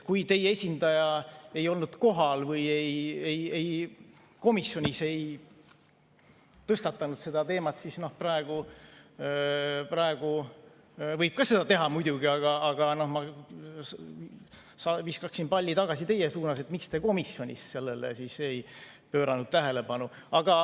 Kui teie esindaja ei olnud kohal või ei tõstatanud komisjonis seda teemat, siis praegu võib seda muidugi teha, aga ma viskaksin palli tagasi teie suunas, et miks te komisjonis sellele tähelepanu ei pööranud.